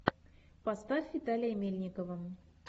поставь виталия мельникова